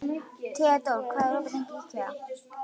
Hann heyrir ekkert og sér ekkert.